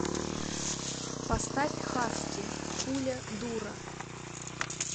поставь хаски пуля дура